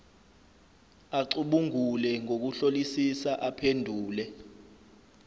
acubungule ngokuhlolisisa aphendule